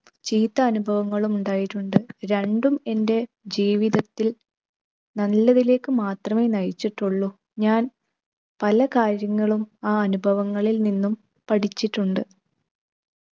ചീത്ത അനുഭവങ്ങളും ഉണ്ടായിട്ടുണ്ട്. രണ്ടും എൻ്റെ ജീവിതത്തിൽ നല്ലതിലേക്ക് മാത്രമേ നയിച്ചിട്ടുള്ളു. ഞാൻ പല കാര്യങ്ങളും ആ അനുഭവങ്ങളിൽ നിന്നും പഠിച്ചിട്ടുണ്ട്.